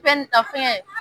Fɛ ni ta fɛngɛ